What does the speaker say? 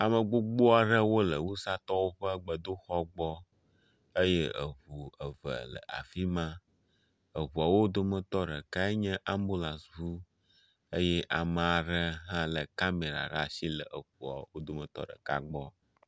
Ame gbogbo aɖewo le wusatɔwo ƒe gbedoxɔ gbɔ eye eŋu eve le afi ma. Eŋuawo dometɔ ɖekae nye ambulasi eye ame aɖe hã le kameɖa ɖe asi le eŋua wo dometɔ ɖeka gbɔ.